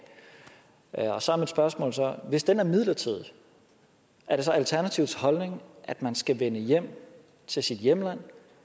og så er mit spørgsmål hvis den er midlertidig er det så alternativets holdning at man skal vende hjem til sit hjemland